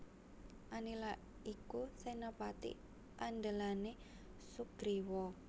Anila iku senapati andhelane Sugriwa